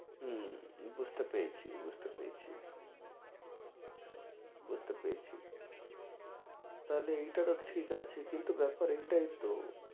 হম বুঝতে পেরেছি বুঝতে পেরেছি বুঝতে পেরেছি তাহলে এইটারও ঠিক আছে কিন্তু ব্যাপার এটাইতো